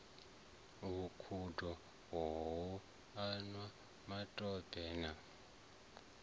vhukhudo ho anwa matope na